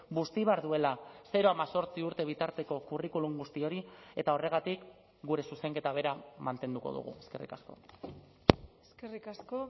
busti behar duela zero hemezortzi urte bitarteko curriculum guzti hori eta horregatik gure zuzenketa bera mantenduko dugu eskerrik asko eskerrik asko